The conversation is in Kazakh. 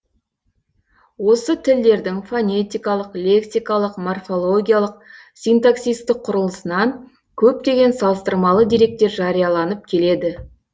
осы тілдердің фонетикалық лексикалық морфологиялық синтаксистік құрылысынан көптеген салыстырмалы деректер жарияланып келеді